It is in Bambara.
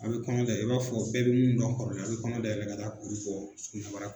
A bɛ kɔnɔ i b'a fɔ bɛɛ bɛ minnu dɔn kɔrɔlen a bɛ kɔnɔ dayɛlɛ ka taa kuru bɔ